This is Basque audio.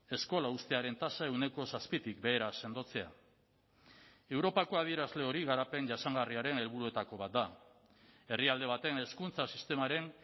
eskola uztearen tasa ehuneko zazpitik behera sendotzea europako adierazle hori garapen jasangarriaren helburuetako bat da herrialde baten hezkuntza sistemaren